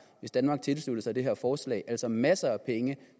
hvis danmark tilsluttede sig det her forslag altså masser af penge